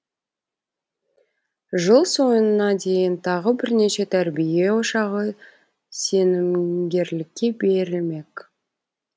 жыл соңына дейін тағы бірнеше тәрбие ошағы сенімгерлікке берілмек